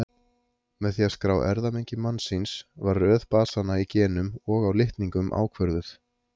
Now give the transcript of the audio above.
Með því að skrá erfðamengi mannsins var röð basanna í genum og á litningum ákvörðuð.